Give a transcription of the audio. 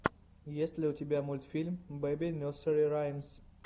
есть ли у тебя мультфильм бэби несери раймс